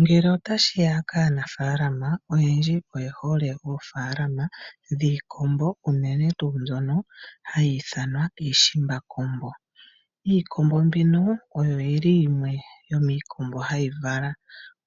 Ngele otashi ya kaanaafaalama, oyendji oye hole oofaalama dhiikombo unene tuu mbyono hayi ithanwa iishimbakombo. Iikombo mbino oyo yimwe yomiikombo mbyono hayi vala